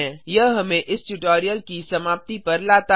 यह हमें इस ट्यूटोरियल की समाप्ति पर लाता है